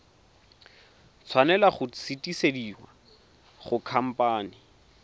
tshwanela go sutisediwa go khamphane